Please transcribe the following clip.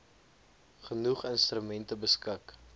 genoeg instrumente beskik